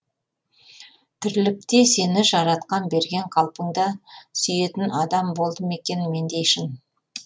тірлікте сені жаратқан берген қалпыңда сүйетін адам болды ма екен мендей шын